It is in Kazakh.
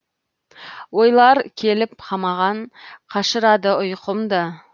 ойлар келіп қамаған қашырады ұйқымды